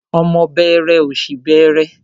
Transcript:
Ọmọ bẹẹrẹ, ọ̀ṣì bẹẹrẹ.